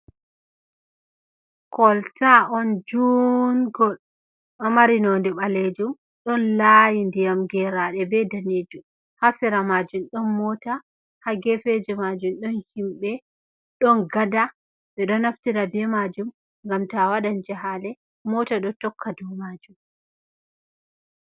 Kolta'on juungol ɗo mari nonde ɓaleejum. Ɗon layi ndiyam geraɗe be danejum. Ha seera majum ɗon mota ha gefeje majum, ɗon himɓe, ɗon gada, ɓe ɗo naftira be majum ngam to awaɗan jahale. Mota ɗo tokka dou majum.